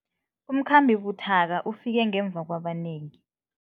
Umkhambi buthaka ufike ngemva kwabanengi.